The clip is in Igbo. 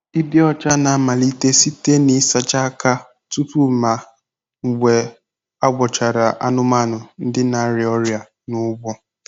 Ịdị ọcha na-amalite site n'ịsacha aka tupu na mgbe a gwọchara anụmanụ ndị na-arịa ọrịa n'ugbo.